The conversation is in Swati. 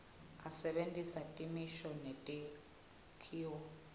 asebentisa timiso netakhiwo